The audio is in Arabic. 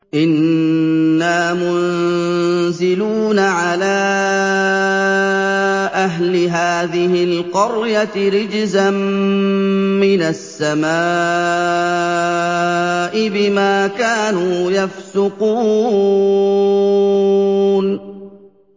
إِنَّا مُنزِلُونَ عَلَىٰ أَهْلِ هَٰذِهِ الْقَرْيَةِ رِجْزًا مِّنَ السَّمَاءِ بِمَا كَانُوا يَفْسُقُونَ